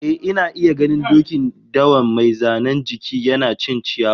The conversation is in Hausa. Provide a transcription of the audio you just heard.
Eh, ina iya ganin dokin dawan mai zanen jiki, yana cin ciyawa